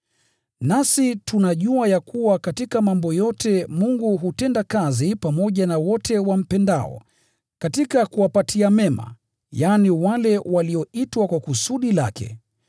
Nasi tunajua ya kuwa katika mambo yote Mungu hutenda kazi pamoja na wote wampendao, katika kuwapatia mema, yaani, wale walioitwa kwa kusudi lake.